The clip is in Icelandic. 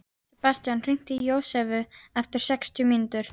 Sebastian, hringdu í Jósefu eftir sextíu mínútur.